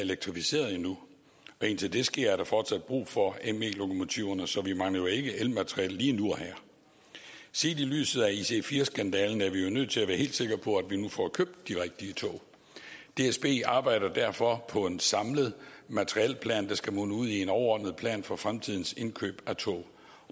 elektrificeret endnu og indtil det sker er der fortsat brug for me lokomotiverne så vi mangler jo ikke elmateriel lige nu og her set i lyset af ic4 skandalen er vi nødt til at være helt sikre på at vi nu får købt de rigtige tog dsb arbejder derfor på en samlet materielplan der skal munde ud i en overordnet plan for fremtidens indkøb af tog